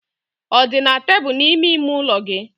Ọ dị na tebụl n'ime ime ụlọ gị.